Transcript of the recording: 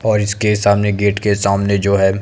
और इसके सामने गेट के सामने जो है--